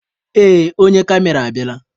Ee, onye kamera abịala.